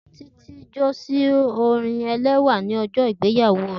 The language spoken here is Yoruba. Titi jó si orin ẹlẹwà ni ọjọ igbeyawo rẹ.